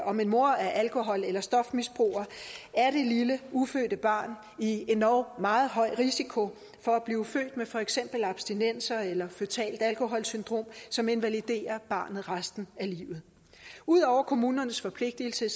om en mor er alkohol eller stofmisbruger er det lille ufødte barn i endog meget høj risiko for at blive født med for eksempel abstinenser eller føtalt alkoholsyndrom som invaliderer barnet resten af livet ud over kommunernes forpligtelse